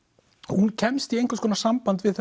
hún kemst í einhvers konar samband við